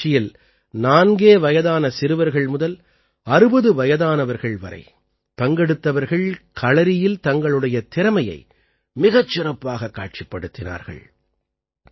இந்த நிகழ்ச்சியில் நான்கே வயதான சிறுவர்கள் முதல் 60 வயதானவர்கள் வரை பங்கெடுத்தவர்கள் களறியில் தங்களுடைய திறமையை மிகச் சிறப்பாகக் காட்சிப்படுத்தினார்கள்